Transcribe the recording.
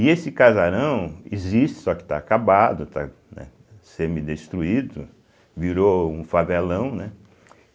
E esse casarão existe, só que está acabado, está, né semidestruído, virou um favelão, né?